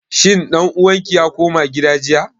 Shin ɗan uwan ki ya koma gida jiya?